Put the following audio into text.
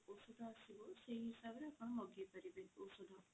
ଔଷଧ ଆସିବ ସେଇ ହିସାବରେ ଆପଣ ମଗେଇ ପାରିବେ ଔଷଧ